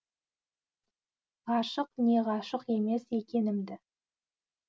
ғашық не ғашық емес екенімді